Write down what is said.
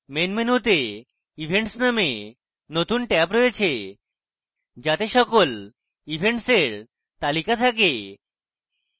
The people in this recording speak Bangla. main মেনুতে events নামে নতুন ট্যাব রয়েছে যাতে সকল events we তালিকা থাকে